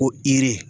Ko ire